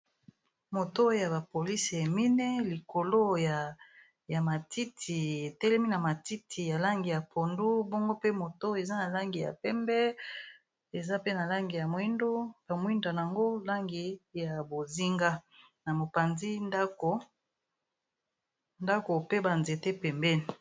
Moto ya bapolisi emine likolo ya matiti etelemi na matiti ya langi ya pondu, bongo pe moto eza na langi ya pembe eza pe ba mwindona yango langi ya bozinga na mopandi ndako pe banzete pembeni.